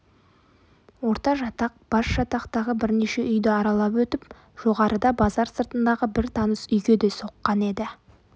ортажатақ басжатақтағы бірнеше үйді аралап өтіп жоғарыда базар сыртындағы бір таныс үйге де соққан еді